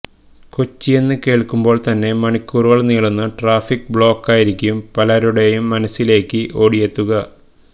കൊച്ചിയെന്ന് കേള്ക്കുമ്പോള് തന്നെ മണിക്കൂറുകള് നീളുന്ന ട്രാഫിക് ബ്ലോക്കായിരിക്കും പലരുടേയും മനസിലേക്ക് ഓടിയെത്തുക